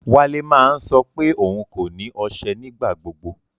Wálẹ̀ máa ń sọ pé ọún kò ní oṣẹ́ nígbàgbọ̀gbọ̀.